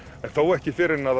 en þó ekki fyrr en